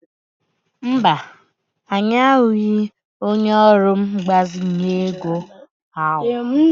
Mba, anyị ahụbeghị onye ọrụ mgbazinye ego ahụ.